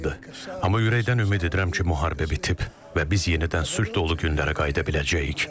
Amma ürəkdən ümid edirəm ki, müharibə bitib və biz yenidən sülh dolu günlərə qayıda biləcəyik.